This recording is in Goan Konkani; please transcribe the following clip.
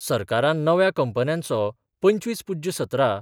सरकारान नव्या कंपन्यांचो पंचवीस पुज्य सतरा